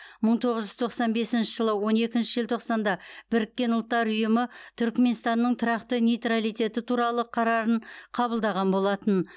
мың тоғыз жүз тоқсан бесінші жылы он екінші желтоқсанда біріккен ұлттар ұйымы түрікменстанның тұрақты нейтралитеті туралы қарарын қабылдаған болатын